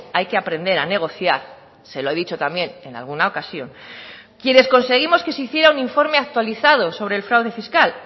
hay que aprender a negociar se lo he dicho también en alguna ocasión quienes conseguimos que se hiciera un informe actualizado sobre el fraude fiscal